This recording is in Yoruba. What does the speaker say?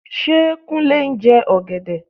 Ṣé Kúnlé ń jẹ ọ̀gẹ̀dẹ?